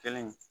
Kelen